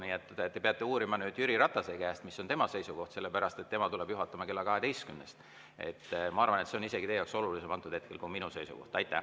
Nii et te peate uurima Jüri Ratase käest, mis on tema seisukoht, tema tuleb juhatama kella 12‑st. Ma arvan, et hetkel on see teie jaoks isegi olulisem kui minu seisukoht.